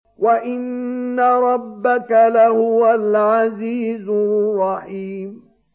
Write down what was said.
وَإِنَّ رَبَّكَ لَهُوَ الْعَزِيزُ الرَّحِيمُ